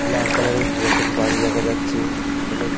লাল কালারের পুরাতন বাড়ি দেখা যাচ্ছে অনেক --